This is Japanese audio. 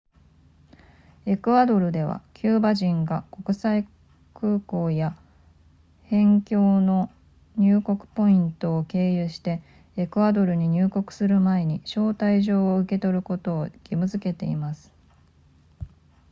エクアドルではキューバ人が国際空港や辺境の入国ポイントを経由してエクアドルに入国する前に招待状を受け取ることを義務付けています